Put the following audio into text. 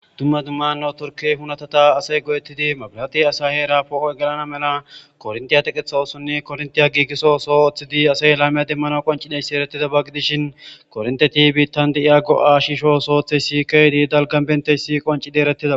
Dumma dummanno turkey hunatata asay godettidi mabilati asa heera poo'o gelana mela korntiya teqetha osonni korntiya giigiso soo oththidi asay laymiya demmano qoncideyssi erettida bag gidishin kornteti biittan di'iya go'a shisho sooththey si keydi dalgan bentey si qoncidi erettida.